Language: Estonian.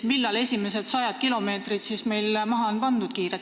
Millal meil siis esimesed sajad kilomeetrid kiiret internetti maha pannakse?